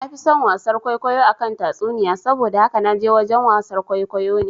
Nafi son wasar kwaikwayo akan tatsuniyoyi, saboda haka naje wajen wasar kwaikwayo ne